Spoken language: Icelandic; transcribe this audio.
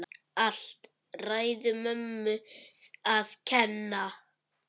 Allt ræðu mömmu að kenna!